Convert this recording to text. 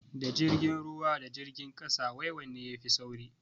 Da jirgin ruwa da jirgin kasa wai wanne ne yafi sauri?